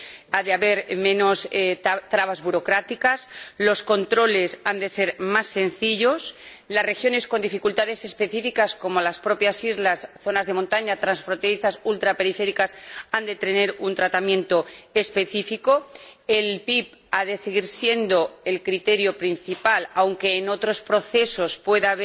ha de haber menos trabas burocráticas los controles han de ser más sencillos y las regiones con dificultades específicas, como las islas, las zonas de montaña, las regiones transfronterizas y las ultraperiféricas, han de tener un tratamiento específico. El PIB ha de seguir siendo el criterio principal, aunque en otros procesos